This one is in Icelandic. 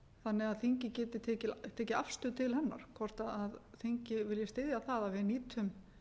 þannig að þingið geti tekið afstöðu til hennar hvort þingið vilji styðja það að við nýtum